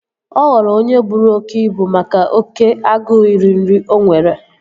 Ọ ghọrọ onye buru oké ibu make oké agụụ iri nri o nwere